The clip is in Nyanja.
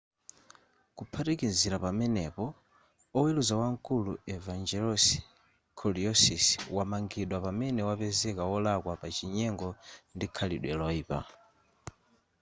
kuphatikizira pamenepo oweruza wamkulu evangelos kalousisi wamangidwa pamene wapezeka wolakwa pa chinyengo ndi khalidwe loyipa